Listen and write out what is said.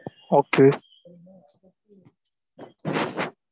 Okay